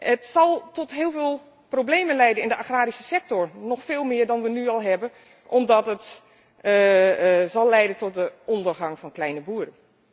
Het zal tot heel veel problemen leiden in de agrarische sector, nog veel meer dan we nu al hebben, omdat het zal leiden tot de ondergang van kleine boeren.